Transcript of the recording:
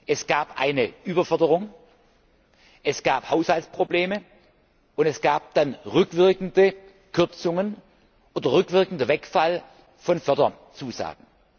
Es gab eine Überförderung, es gab Haushaltsprobleme, und es gab dann rückwirkende Kürzungen oder rückwirkenden Wegfall von Förderzusagen.